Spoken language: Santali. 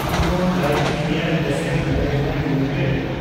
Nippon life India asset management limited